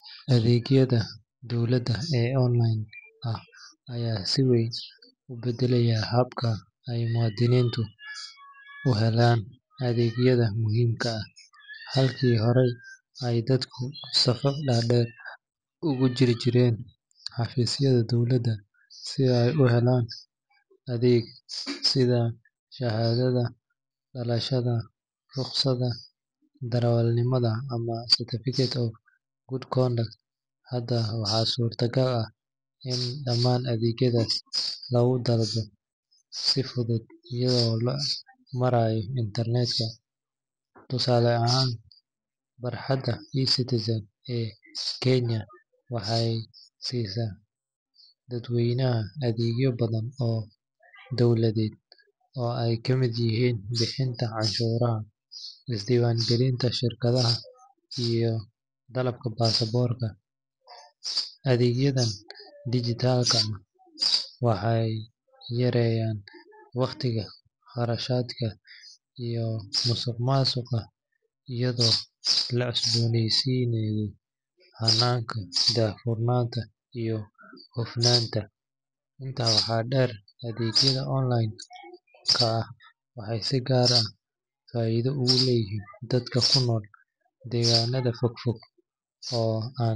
Adeegyada dowladda ee online ah ayaa si weyn u beddelay habka ay muwaadiniintu u helaan adeegyada muhiimka ah. Halkii hore ay dadku safaf dhaadheer ugu jiri jireen xafiisyada dowladda si ay u helaan adeeg sida shahaadada dhalashada, rukhsadda darawalnimada ama certificate of good conduct, hadda waxaa suurtagal ah in dhammaan adeegyadaas lagu dalbado si fudud iyada oo loo marayo internet-ka. Tusaale ahaan, barxadda eCitizen ee Kenya waxay siisaa dadweynaha adeegyo badan oo dowladeed oo ay kamid yihiin bixinta canshuuraha, isdiiwaangelinta shirkadaha, iyo dalabka baasaboorka. Adeegyadan digital ah waxay yareeyaan wakhtiga, kharashaadka, iyo musuqmaasuqa iyadoo la cusbooneysiiyay hannaanka daahfurnaanta iyo hufnaanta. Intaa waxaa dheer, adeegyada online ah waxay si gaar ah faa’iido ugu leeyihiin dadka ku nool deegaannada fogfog oo aan.